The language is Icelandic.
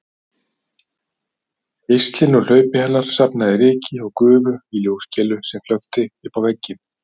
Geislinn úr hlaupi hennar safnaði ryki og gufu í ljóskeilu sem flökti uppá vegginn